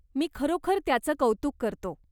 मी खरोखर त्याचं कौतुक करतो.